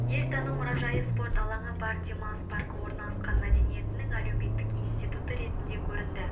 ел тану мұражайы спорт алаңы бар демалыс паркі орналасқан мәдениетінің әлеуметтік институты ретінде көрінді